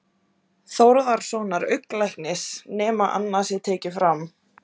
Þórðarsonar augnlæknis, nema annað sé tekið fram.